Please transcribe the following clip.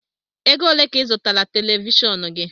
Ego ole ka I zụtara televishọọnu gị?